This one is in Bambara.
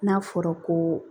N'a fɔra ko